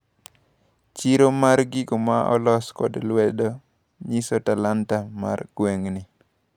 Chiro mar gigo maolos kod lwedo nyiso talanta mar gweng`ni.